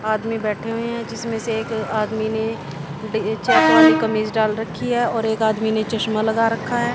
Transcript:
आदमी बैठे हुए हैं जिसमें से एक आदमी ने डे कमीज डाल रखी है और एक आदमी ने चश्मा लगा रखा है।